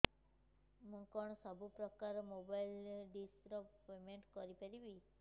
ମୁ କଣ ସବୁ ପ୍ରକାର ର ମୋବାଇଲ୍ ଡିସ୍ ର ପେମେଣ୍ଟ କରି ପାରିବି